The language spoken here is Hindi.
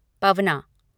पवना